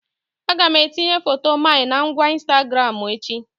Aga m etinye foto my na ngwa Ịnstagramụ echi